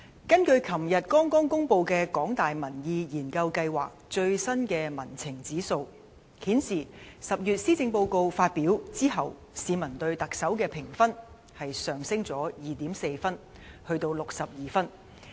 根據昨天剛公布的香港大學民意研究計劃的最新民情指數顯示，施政報告在10月發表之後，市民對特首的評分上升了 2.4 分，至62分。